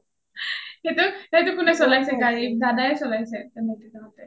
সেইটো কোনে চলাইছে গাৰি দাদাই চলাছে নে নৈকিত দা হ’তে?